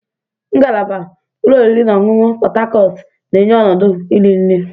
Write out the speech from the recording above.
Ngalaba ụlọ oriri na ọṅụṅụ Pot Tarcot na-enye ọnọdụ iri nri.